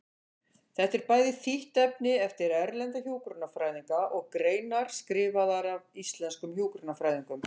Þetta er bæði þýtt efni eftir erlenda hjúkrunarfræðinga og greinar skrifaðar af íslenskum hjúkrunarfræðingum.